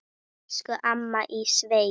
Elsku amma í sveit.